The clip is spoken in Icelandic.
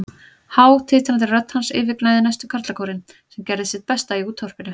Há, titrandi rödd hans yfirgnæfði næstum karlakórinn, sem gerði sitt besta í útvarpinu.